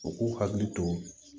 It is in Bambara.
U k'u hakili to